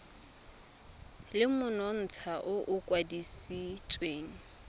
le monontsha o o kwadisitsweng